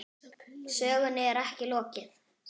Sögunni er ekki lokið.